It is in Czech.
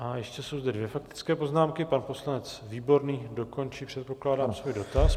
A ještě jsou zde dvě faktické poznámky - pan poslanec Výborný dokončí, předpokládám, svůj dotaz.